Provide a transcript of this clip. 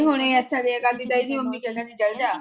ਨਹੀਂ ਹੁਣ ਇੱੱਥੇ ਰਹਿਣ ਲੱਗ ਪਈ ਤੇ ਇਹਦੀ ਮੰਮੀ ਕਿ ਕਹਿੰਦੀ ਚੱਲ।